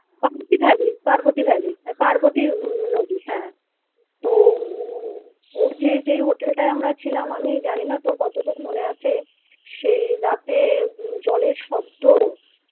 Parvati valley Parvati valley হ্যা প~ পার্বতী নদী হ্যা তো ওর যে যেই হোটেলটাতে আমরা ছিলাম আমি জানি না তোর কতটুকু মনে আছে সেই রাতে জলের শব্দ